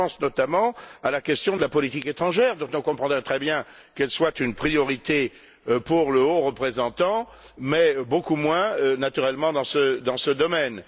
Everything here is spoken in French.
Je pense notamment à la question de la politique étrangère, dont on comprend très bien qu'elle soit une priorité pour le haut représentant, mais beaucoup moins, naturellement, dans ce domaine.